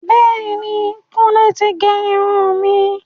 Bẹẹni, Kùnlé ti gé irun mi.